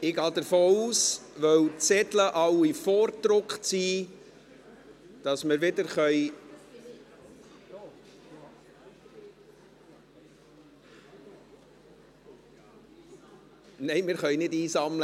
Weil alle Zettel vorgedruckt sind, gehe ich davon aus, dass wir wieder … Nein, wir können nicht einsammeln.